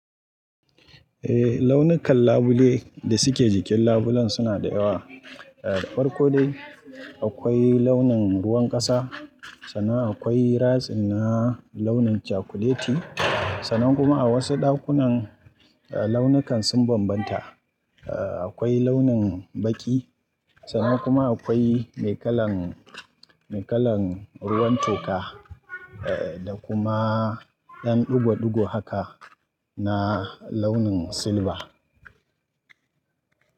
Eh launukan labule da suke jikin labulen suna da yawa. Eh farko dai akwai launin ruwan ƙasa, sannan akwai ratsi na launin cakuleti. Sannan kuma a wasu ɗakunan, launukan sun bambanta. Eh akwai launin baƙi, sannan kuma akwai mai kalan, mai kalan ruwan toka eh da kuma ɗan ɗugo-ɗugo haka na launin silba.